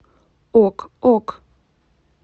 ок ок